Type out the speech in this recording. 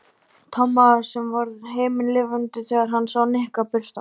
Tomma sem varð himinlifandi þegar hann sá Nikka birtast.